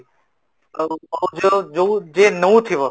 ଆଉ ଯୋଉ ଯୋଉ ଯିଏ ନଉଥିବ